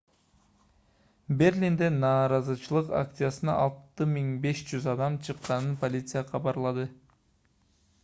берлинде нааразычылык акциясына 6500 адам чыкканын полиция кабарлады